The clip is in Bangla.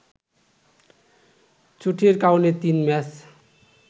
চোটের কারণে তিন ম্যাচ